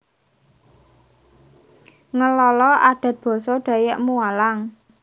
Ngelala Adat Basa Dayak Mualang